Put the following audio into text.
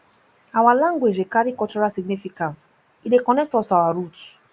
our language dey carry cultural significance e dey connect us to our roots